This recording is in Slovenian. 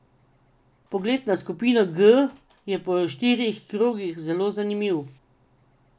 Pogled na skupino G je po štirih krogih zelo zanimiv.